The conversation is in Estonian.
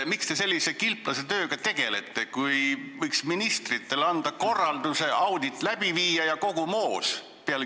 Miks te sellise kilplasetööga tegelete, kui võiks ministritele anda korralduse audit läbi viia ja kogu moos?